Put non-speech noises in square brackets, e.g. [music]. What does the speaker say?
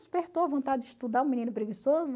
Despertou a vontade de estudar [unintelligible] menino preguiçoso.